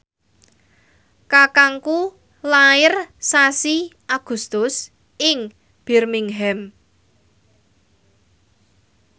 kakangku lair sasi Agustus ing Birmingham